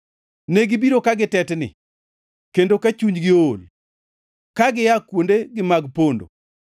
Negibiro ka gitetni; kendo ka chunygi ool, ka gia kuondegi mag pondo.